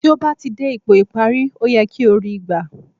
Tí ó bá ti dé ipò ìparí, ó yẹ kí o ri í gbà